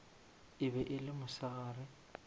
e be e le mosegare